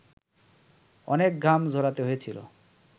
অনেক ঘাম ঝরাতে হয়েছিল